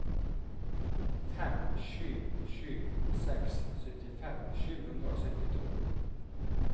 fem sju sju seks syttifem sju hundre og syttito